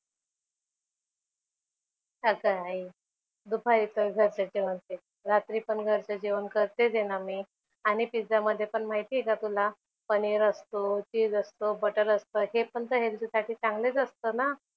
अगं आई. दुपारी तर घरचं जेवण तेच, रात्री पण घरचं जेवण करतेच आहे ना मी आणि पिझ्झा मध्ये पण माहिती आहे का तुला, पनीर असतो, चीझ असतो, बटर असतं. हे पण तर हेल्थसाठी चांगलेच असतं ना.